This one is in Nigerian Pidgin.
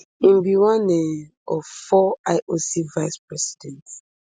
im be one um of four ioc vice presidents